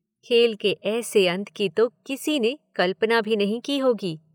खेल के ऐसे अंत की तो किसी ने कल्पना भी नहीं की होगी।